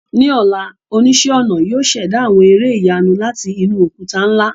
Ní ọ̀la, oníṣẹ́-ọnà yóò ṣẹ̀dá àwọn ère ìyanu láti inú òkúta ńlá.